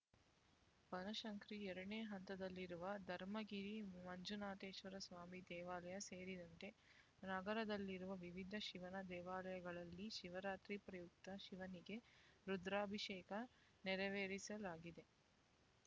ಬನಶಂಕರಿ ಎರಡನೇ ಹಂತದಲ್ಲಿರುವ ಧರ್ಮಗಿರಿ ಮಂಜುನಾಥೇಶ್ವರ ಸ್ವಾಮಿ ದೇವಾಲಯ ಸೇರಿದಂತೆ ನಗರದಲ್ಲಿರುವ ವಿವಿಧ ಶಿವನ ದೇವಾಲಯಗಳಲ್ಲಿ ಶಿವರಾತ್ರಿ ಪ್ರಯುಕ್ತ ಶಿವನಿಗೆ ರುದ್ರಾಭಿಷೇಕ ನೆರವೇರಿಸಲಾಗಿದೆ